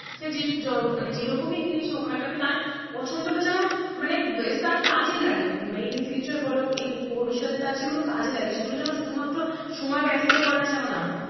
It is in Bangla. মানে তার কাজে লাগে in future বোলো ভবিষ্যতে সেগুলো যেন তার কাজে লাগে সেগুলো যেন শুধুমাত্র সময় ব্যতীত করা যেন না হয় তাই না